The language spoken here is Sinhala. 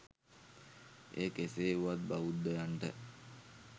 එය කෙසේ වුවත් බෞද්ධයන්ට